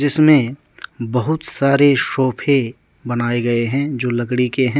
इसमें बहुत सारे सोफे बनाए गए हैं जो लकड़ी के हैं।